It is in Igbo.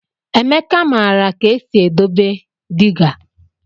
Emeka maara ka esi edobe dịga.